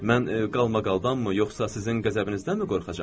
Mən qalmaqaldanmı, yoxsa sizin qəzəbinizdənmi qorxacam?